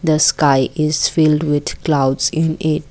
the sky is filled with clouds in it.